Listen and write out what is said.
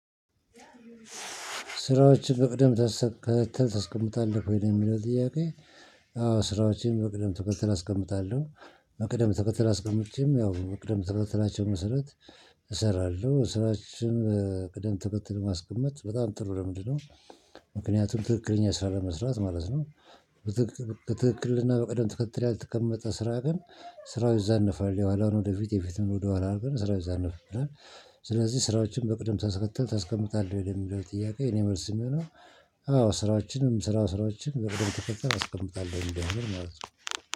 ስራዎችን በቅደም ተሰ ታሰቀምጣለህ ወይ የሚለው ጥያቄ? አዎ ስራዎችን በቅደም ተከተል አስቀምጣለሁ። በቅደም ተከተል አስቀምጨም ያው በቅደም ተከተላቸው መሰረት እሰራለሁ ስራችን ቅደም ተከትል ማስቀመጥ በጣም ጥሩ ልምድ ነው። ምክንያቱም ትክክለኛ ስራ ለመስራት ማለት ነው። ትክክልና በቅደም ተከተል ያልተቀመጠ ስራ ግን ስራው ይዛነፋል የኋላውን ወደፊት የፊቱን ወደኋላ አርገን ስራው ይዛነፍብናል። ስለዚህ ስራዎችን በቅደም ተከተል ታስቀምጣህ ወደሚለው ጥያቄ እኔ መልስ የሚሆነው። አዎ ስራዎችንም ስራ ስራዎችንም በቅደም ተከተል አስቀምጣለሁ እንደምል ማለት ነው